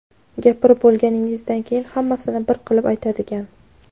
Gapirib bo‘lganingizdan keyin hammasini bir qilib aytadigan;.